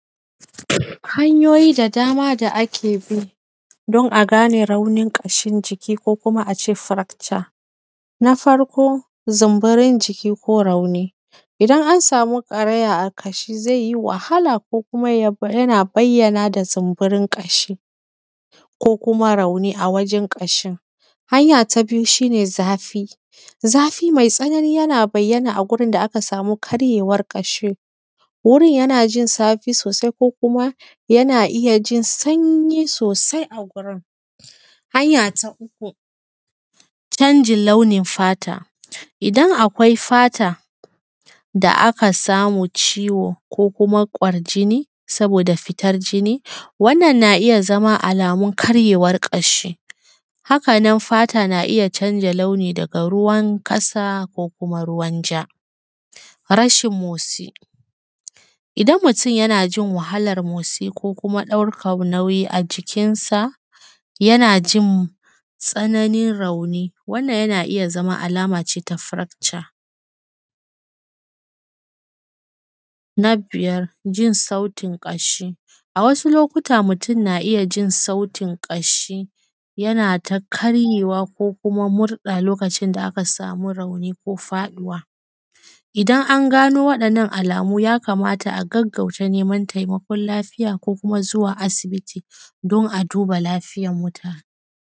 Hanyoyi da dama da akebi don a gane raunin ƙashin jiki ko kuma ace fracture na farko; zumburin jiki ko rauni, idan ansamu ƙaraya a kashi zaiyi wahala ko kuma ya yana bayyana da zumburin ƙashi ko kuma rauni awajen ƙashin. Hanya ta biyu shine zafi; zafi mai tsanani yana bayyana a gurin da aka samu karyewar ƙashi wurin yanajin zafi kuma yana iya jin sanyi sosai a wurin. Hanya ta uku; canjin launin fata, idan akwai fata da aka samu ciwo ko kuma ƙwarjini saboda fitar jini wannan na iya zama alamun karyewar ƙashi, hakanan fata na iya canja launi daga ruwan kasa ko kuma ruwan ja. Rashin motsi, idan mutun yanajin wahalar motsi ko kuma daukar nauyi a jikin sa, yanajin tsananin rauni wannan yana iya zama alama ce ta fracture. Na biyar; jin sautin ƙashi. A wasu lokuta mutun na iyya jin sautin ƙashi yanata karyewa ko kuma murɗa lokacin da aka samu rauni ko faduwa, idan an gano waɗannan alamu ya kamata a gaggauta neman taimakon lafiya ko kuma zuwa asibiti don a duba lafiyan muta.